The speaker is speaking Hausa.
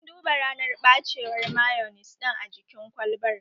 An duba ranar ɓacewar mayonis ɗin a jikin kwalbar